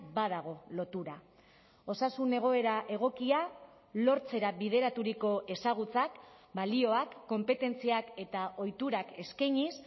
badago lotura osasun egoera egokia lortzera bideraturiko ezagutzak balioak konpetentziak eta ohiturak eskainiz